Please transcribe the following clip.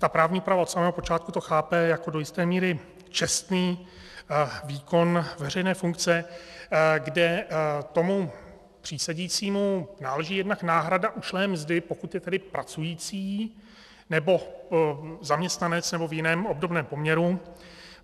Ta právní úprava od samého počátku to chápe jako do jisté míry čestný výkon veřejné funkce, kde tomu přísedícímu náleží jednak náhrada ušlé mzdy, pokud je tedy pracující nebo zaměstnanec nebo v jiném obdobném poměru.